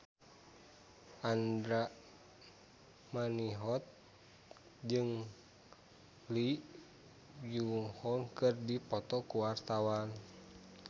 Andra Manihot jeung Lee Byung Hun keur dipoto ku wartawan